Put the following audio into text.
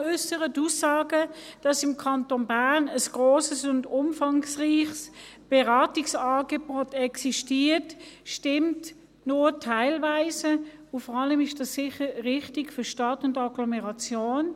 Die Aussage, dass im Kanton Bern ein grosses und umfangreiches Beratungsangebot existiert, stimmt nur teilweise, und vor allem ist das sicher richtig für die Stadt und Agglomeration.